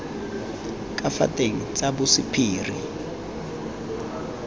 ka fa teng tsa bosephiri